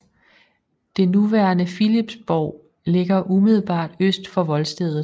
Det nuværende Philipsborg ligger umiddelbart øst for voldstedet